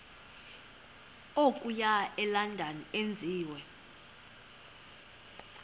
okuya elondon enziwe